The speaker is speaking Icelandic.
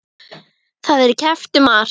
Það er keppt um margt.